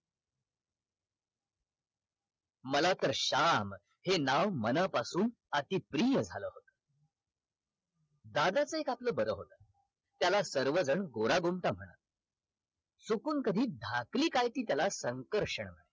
मला तर श्याम हे नाव मनापासून अति प्रिय झाल दादाचा एक आपला बारा होत त्याला सर्वजण गोरागोमटा म्हणत चुकून कधी धाकली काय ती त्याला संकर्षण